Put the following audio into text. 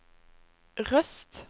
Røst